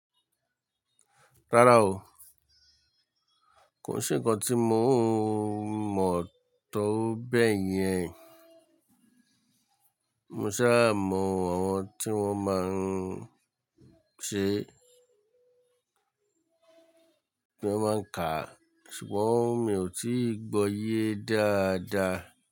Rárá o, kò sí nǹkan tí mo mọ̀ tó bẹ́ẹ̀ yẹn. Mo sá mọ àwọn tí wọ́n máa ń ṣe, pé wọ́n máa ń kà, ṣùgbọ́n mi ò tí ì gbọ́ yé dáadáa.